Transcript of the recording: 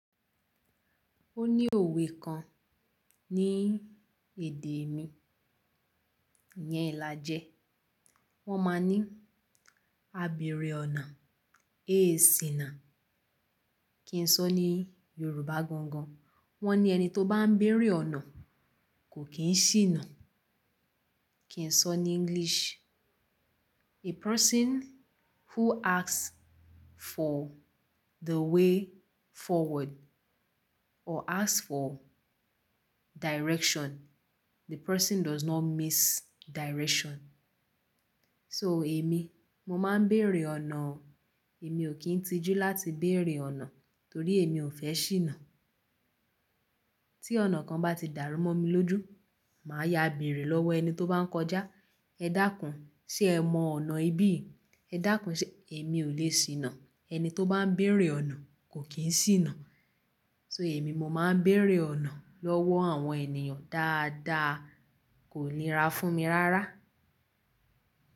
Ó ní òwe kan ní èdè mi, ìyẹn ìlàjẹ. Wọ́n máa ní, "Àbẹ̀rẹ̀ ọ̀nà, é ṣìná." Kí n sọ ní Yorùbá gan gan. Wọ́n ní ẹni tó bá ń béèrè ọ̀nà kò kí n ṣìnà. Kí n sọ ní English, "A person who asks for the way forward or asks for direction, the person does not miss direction." So èmi, mo máa ń béèrè ọ̀nà. Èmi ò kí ń tijú láti béèrè ọ̀nà torí èmi ò fẹ́ ṣìnà. Tí ọ̀nà kan bá ti dàrú mọ́ mi lójú, màá ya àbẹ̀rẹ̀ lọ́wọ́ ẹni tó bá ń kọjá. "Ẹ dákun, ṣe ẹ mọ ọ̀nà ibí?" "Ẹ dákun, ṣe?" Èmi ò lè ṣìnà. Ẹni tó bá ń béèrè ọ̀nà kò kí n ṣìnà. So èmi, mo máa ń béèrè ọ̀nà lọ́wọ́ àwọn ènìyàn dáadáa, kò ní ra fún mi rárá.